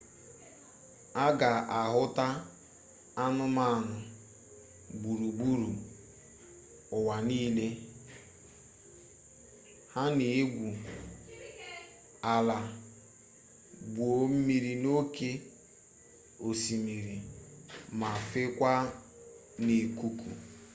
a ga ahụta anụmanụ gburugburu ụwa nile ha na-egwu ala gwuo mmiri n'oke osimiri ma fekwaa n'ikuku